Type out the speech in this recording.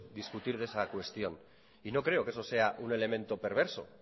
discutir de esa cuestión y no creo que eso sea un elemento perverso